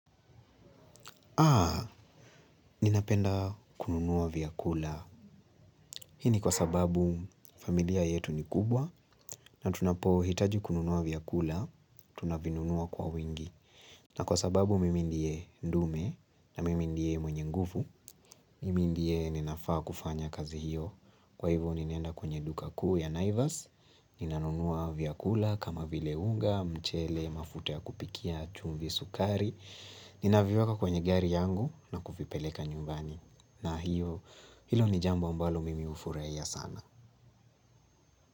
Aa, ninapenda kununuwa vyakula. Hii ni kwa sababu familia yetu ni kubwa na tunapohitaji kununuwa vyakula, tunavinunuwa kwa wingi. Na kwa sababu mimi ndie ndume na mimi ndie mwenye nguvu, mimi ndie ninafaa kufanya kazi hiyo. Kwa hivyo ninaenda kwenye duka kuu ya naivas, ninanunuwa vyakula kama vile unga, mchele, mafuta ya kupikia, chumvi, sukari. Ninaviweka kwenye gari yangu na kuvipeleka nyumbani. Na hiyo, hilo ni jambo ambalo mimi hufuraia sana.